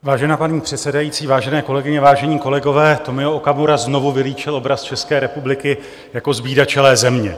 Vážená paní předsedající, vážené kolegyně, vážení kolegové, Tomio Okamura znovu vylíčil obraz České republiky jako zbídačelé země.